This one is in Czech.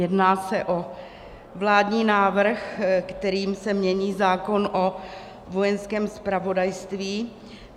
Jedná se o vládní návrh, kterým se mění zákon o Vojenském zpravodajství.